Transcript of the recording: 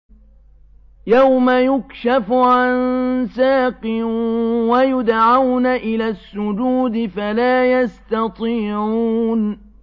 يَوْمَ يُكْشَفُ عَن سَاقٍ وَيُدْعَوْنَ إِلَى السُّجُودِ فَلَا يَسْتَطِيعُونَ